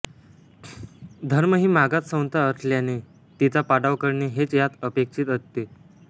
धर्म ही मागास संस्था असल्याने तिचा पाडाव करणे हेच यात अपेक्षित असते